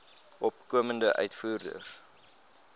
opkomende uitvoerders